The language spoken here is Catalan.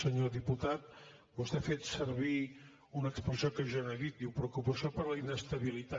senyor diputat vostè ha fet servir una expressió que jo no he dit diu preocupació per la inestabilitat